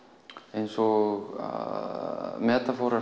eins og